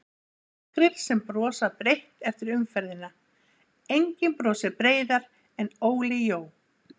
Nokkrir sem brosa breitt eftir umferðina:- Enginn brosir breiðar en Óli Jó.